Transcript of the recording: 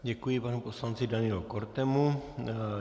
Děkuji panu poslanci Danielu Kortemu.